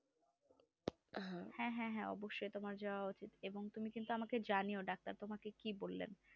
হ্যাঁ হ্যাঁ অবশ্য তোমার যাওয়া উচিত এবং তুমি কিন্তু আমাকে জানিও doctor কি বললে